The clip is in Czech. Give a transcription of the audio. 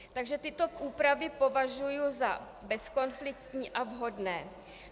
Takže tyto úpravy považuji za bezkonfliktní a vhodné.